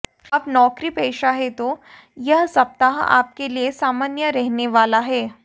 आप नौकरीपेशा हैं तो यह सप्ताह आपके लिए सामान्य रहने वाला है